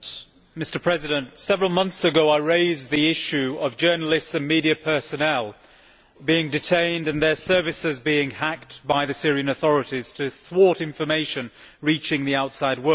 Mr President, several months ago I raised the issue of journalists and media personnel being detained and their services being hacked by the Syrian authorities to thwart information reaching the outside world.